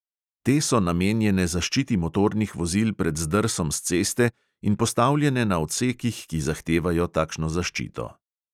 Te so namenjene zaščiti motornih vozil pred zdrsom s ceste in postavljene na odsekih, ki zahtevajo takšno zaščito.